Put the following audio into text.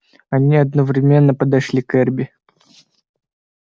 они одновременно подошли к эрби